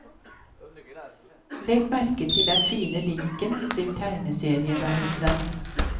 Legg merke til den fine linken til tegneserieverdenen.